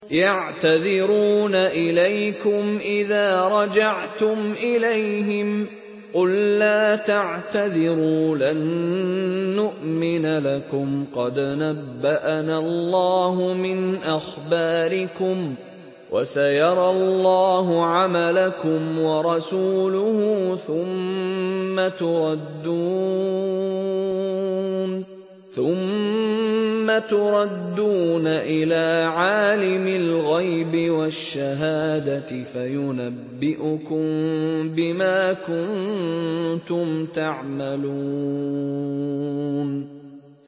يَعْتَذِرُونَ إِلَيْكُمْ إِذَا رَجَعْتُمْ إِلَيْهِمْ ۚ قُل لَّا تَعْتَذِرُوا لَن نُّؤْمِنَ لَكُمْ قَدْ نَبَّأَنَا اللَّهُ مِنْ أَخْبَارِكُمْ ۚ وَسَيَرَى اللَّهُ عَمَلَكُمْ وَرَسُولُهُ ثُمَّ تُرَدُّونَ إِلَىٰ عَالِمِ الْغَيْبِ وَالشَّهَادَةِ فَيُنَبِّئُكُم بِمَا كُنتُمْ تَعْمَلُونَ